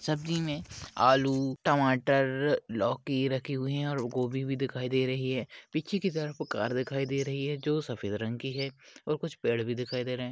सब्जी मे आलू टमाटर लौकी रखे हुए है और गोबी भी दिखाई दे रही है पिछे की तरफ वो कार दिखाई दे रही है जो सफ़ेद रंग की है और कुछ पेड़ भी दिखाई दे रहे--